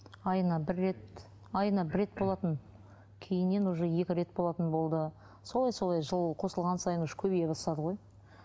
айына бір рет айына бір рет болатын кейіннен уже екі рет болатын болды солай солай жыл қосылған сайын уже көбейе бастады ғой